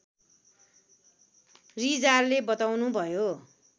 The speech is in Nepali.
रिजालले बताउनुभयो